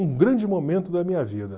Um grande momento da minha vida.